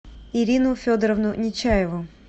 ирину федоровну нечаеву